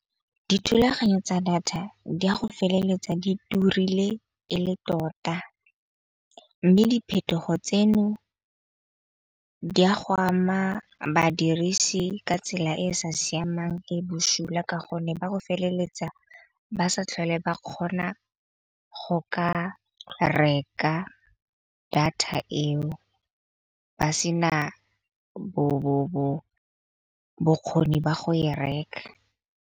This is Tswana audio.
Dithulaganyo tsa data di a go feleletsa di turile ele tota mme diphetogo tseno di a go ama badirisi ka tsela e e sa siamang e busula. Ka gonne ba go feleletsa ba sa tlhole ba kgona go ka reka data eo ba sena bo bokgoni ba go e reka.